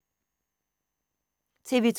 TV 2